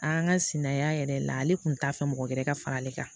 An ka sinaya yɛrɛ la ale kun t'a fɛ mɔgɔ wɛrɛ ka fara ale kan